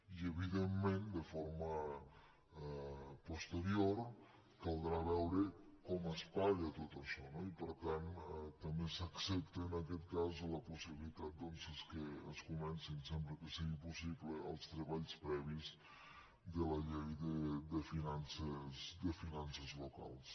i evidentment de forma posterior caldrà veure com es paga tot això no i per tant també s’accepta en aquest cas la possibilitat que es comencin sempre que sigui possible els treballs previs de la llei de fi·nances locals